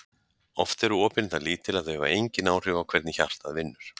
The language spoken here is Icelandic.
Oft eru opin það lítil að þau hafa engin áhrif á hvernig hjartað vinnur.